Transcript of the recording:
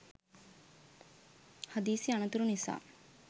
හදිසි අනතුරු නිසා